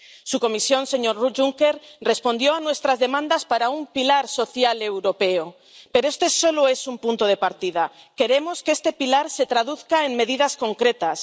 Su Comisión, señor Juncker, respondió a nuestras demandas para un pilar social europeo, pero este solo es un punto de partida queremos que este pilar se traduzca en medidas concretas.